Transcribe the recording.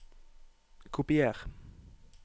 Kopier